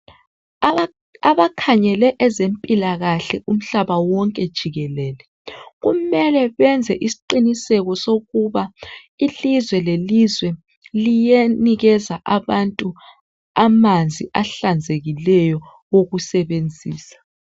abakhangele ezempilakahle umhlaba wonke jiekelele kumele benze isiqiniseko sokuba ilizwe lelizwe liyanikeza abantu amanzi ahlanzekileyo okusebenzisa